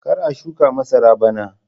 Kar a shuka masara bana!